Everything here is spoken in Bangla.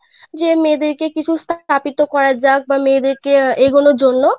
যে মেয়েদের কিছু স্থাপিত করা যাক বা মেয়েদের কে এগোনোর জন্য.